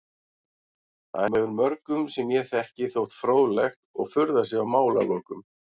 Það hefur mörgum sem ég þekki þótt fróðlegt og furðað sig á málalokum.